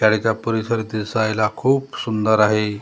शाळेचा परिसर दिसायला खूप सुंदर आहे .